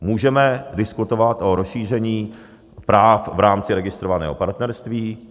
Můžeme diskutovat o rozšíření práv v rámci registrovaného partnerství.